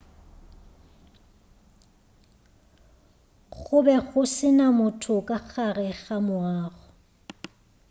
go be go se na motho ka gare ga moago